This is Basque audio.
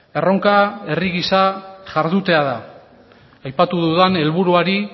erronka herri gisa jardutea da aipatu dudan helburuari